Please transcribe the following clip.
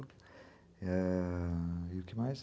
Eh... E o que mais?